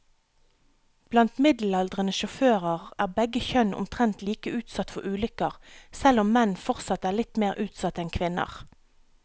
Blant middelaldrende sjåfører er begge kjønn omtrent like utsatt for ulykker, selv om menn fortsatt er litt mer utsatt enn kvinner.